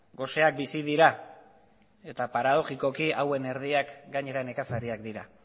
goseak bizi dira eta paradogikoki hauen erdiak gainera nekazariak dira